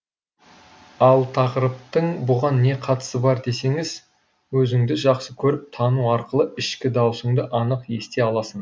ал тақырыптың бұған не қатысы бар десеңіз өзіңді жақсы көріп тану арқылы ішкі даусыңды анық ести аласың